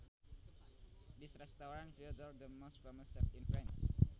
This restaurant features the most famous chefs in France